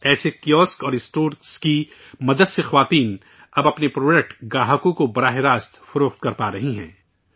ایسے کیوسک اور اسٹورز کی مدد سے خواتین اب اپنے پروڈکٹ گاہکوں کو سیدھے فروخت کرپارہی ہیں